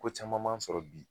Ko caman man sɔrɔ bi